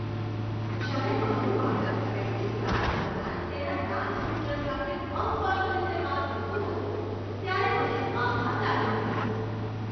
જ્યારે મારું બાળક પ્રેક્ટિસ ક્લાસ દરમિયાન તેના ડાન્સ ટ્યૂટર સાથે અસ્પષ્ટ રીતે વાત કરતું હતું, ત્યારે મને આઘાત લાગ્યો હતો.